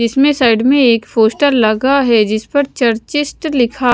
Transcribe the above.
इसमें साइड में एक पोस्टर लगा है जिस पर चर्चिस्ट लिखा--